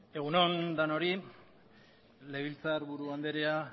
egun on denoi legebiltzarburu andrea